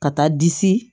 Ka taa disi